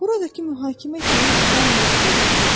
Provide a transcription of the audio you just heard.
Buradakı mühakimə etməyə adam yoxdur?